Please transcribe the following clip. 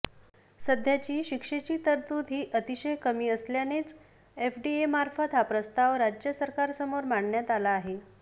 सध्याची शिक्षेची तरतूद ही अतिशय कमी असल्यानेच एफडीएमार्फत हा प्रस्ताव राज्य सरकारसमोर मांडण्यात आला आहे